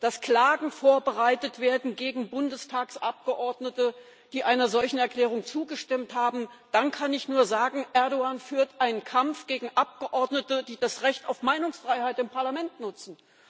dass Klagen gegen Bundestagsabgeordnete vorbereitet werden, die einer solchen Erklärung zugestimmt haben, dann kann ich nur sagen, Erdoğan führt einen Kampf gegen Abgeordnete, die das Recht auf Meinungsfreiheit im Parlament nutzen.